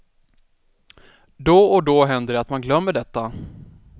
Då och då händer det att man glömmer detta.